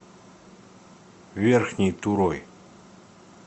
верхней турой